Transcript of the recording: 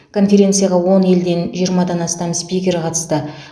конференцияға он елден жиырмадан астам спикер қатысты